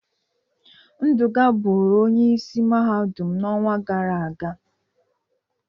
Nduka bụrụ Onye isi Mahadum n'ọnwa gara aga.